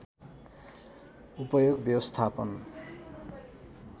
उपयोग व्यवस्थापन